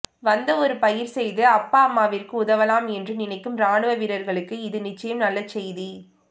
வந்து ஒரு பயிர் செய்து அப்பா அம்மாவிற்கும் உதவலாம் என்று நினைக்கும் ராணுவ வீரர்களுக்கு இது நிச்சயம் நல்ல செய்தி